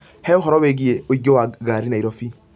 He ũhoro wĩgiĩ ũingĩ wa ngari Nairobi